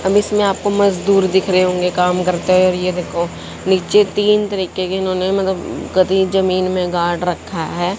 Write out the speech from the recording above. अब इसमें आपको मजदूर दिख रहे होंगे काम करते हुए और ये देखो नीचे तीन तरीके के इन्होंने जमीन में गाड़ रखा है।